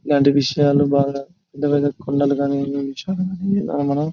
ఇలాంటి విషయాన్ని బాగా పెద్ద పెద్ద కొండలు కానీ --